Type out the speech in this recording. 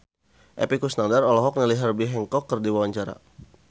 Epy Kusnandar olohok ningali Herbie Hancock keur diwawancara